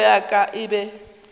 hlogo ya ka e be